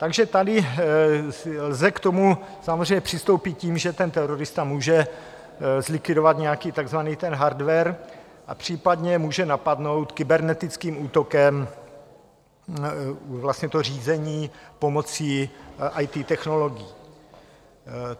Takže tady lze k tomu samozřejmě přistoupit tím, že ten terorista může zlikvidovat nějaký takzvaný ten hardware a případně může napadnout kybernetickým útokem vlastně to řízení pomocí IT technologií.